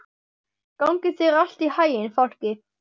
Gangi þér allt í haginn, Fálki.